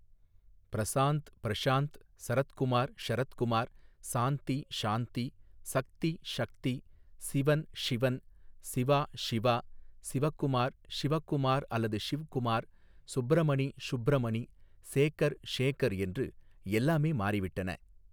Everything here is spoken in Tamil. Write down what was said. ப்ரசாந்த் ப்ரஷாந்த், சரத்குமார் ஷரத்குமார், சாந்தி ஷாந்தி, சக்தி ஷக்தி, சிவன் ஷிவன், சிவா ஷிவா, சிவகுமார் ஷிவகுமார் அல்லது ஷிவ்குமார், சுப்ரமணி ஷுப்ரமணி, சேகர் ஷேகர் என்று எல்லாமே மாறிவிட்டன.